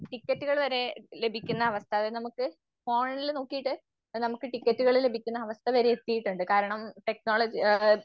ടിക്കറ്റുകൾ വരെ ലഭിക്കുന്ന അവസ്ഥകൾ നമുക്ക് ഫോണിൽ നോക്കീട്ട് നമുക്ക് ടിക്കറ്റുകള് ലഭിക്കുന്ന അവസ്ഥ വരെ എത്തീട്ടുണ്ട്. കാരണം ടെക്നോളജി ആം